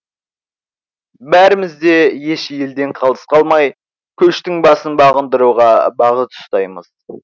бәріміз де еш елден қалыс қалмай көштің басын бағындыруға бағыт ұстаймыз